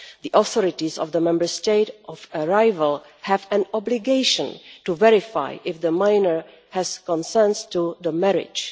The authorities of the Member State of arrival have an obligation to verify if the minor has consented to the marriage.